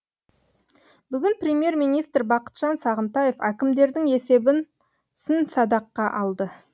бүгін премьер министр бақытжан сағынтаев әкімдердің есебін сын садаққа алды